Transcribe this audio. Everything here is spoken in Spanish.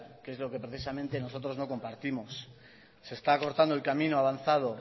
que es lo que precisamente nosotros no compartimos se está acortando el camino avanzado